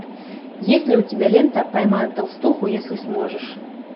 есть ли у тебя лента поймай толстуху если сможешь